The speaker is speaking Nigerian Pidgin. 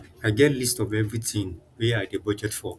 i get list of everything wey i dey budget for